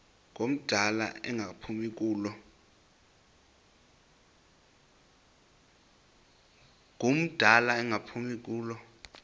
ngumdala engaphumi kulo